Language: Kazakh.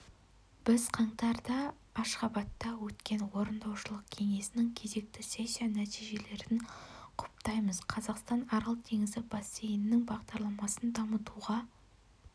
біз қаңтарда ашхабадта өткен орындаушылық кеңесінің кезекті сессия нәтижелерін құптаймыз қазақстан арал теңізі бассейнінің бағдарламасын дамытуға